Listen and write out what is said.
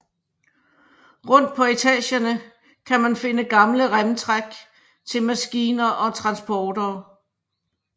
Rundt på etagerne kan man finde gamle remtræk til maskiner og transportere